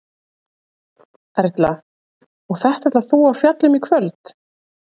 Erla: Og þetta ætlar þú að fjalla um í kvöld?